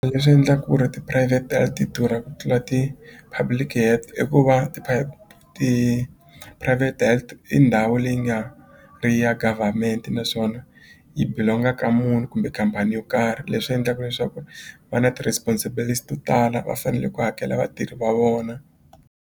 Leswi endla ku ri ti-private ti durha ku tlula ti-public i ku va ti-private health i ndhawu leyi nga ri ya government naswona yi belong-a ka munhu kumbe khampani yo karhi leswi endlaku leswaku va na to tala va fanele ku hakela vatirhi va vona.